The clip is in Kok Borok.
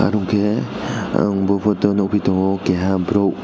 wngke ang bo poto nogoi tango kaha borok.